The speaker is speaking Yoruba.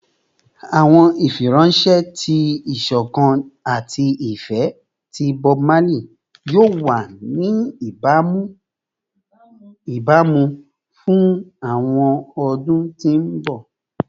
Awọn ifiranṣẹ ti isokan ati ifẹ ti Bob Marley yoo wa ni ibamu fun awọn ọdun ti mbọ